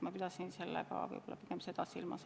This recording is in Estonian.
Ma pidasin seda silmas.